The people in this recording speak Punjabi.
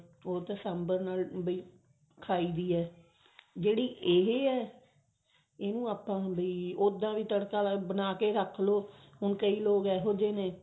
ਉਹ ਤਾਂ ਸਾਂਬਰ ਨਾਲ ਵੀ ਖਾਈ ਦੀ ਹੈ ਜਿਹੜੀ ਇਹ ਹੈ ਉਦ੍ਸਾਂ ਵੀ ਤੜਕਾ ਬਣਾ ਕੇ ਰੱਖ ਲਓ ਹੁਣ ਕਈ ਲੋਕ ਇਹੋ ਜਿਹੇ ਨੇ